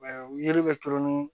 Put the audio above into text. yeli bɛ turu ni